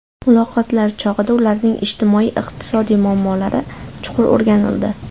Muloqotlar chog‘ida ularning ijtimoiy-iqtisodiy muammolari chuqur o‘rganildi.